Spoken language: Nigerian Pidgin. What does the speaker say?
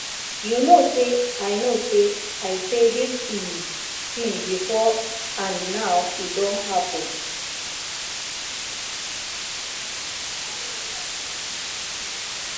you know say i know say i say dis um thing before and now e don happen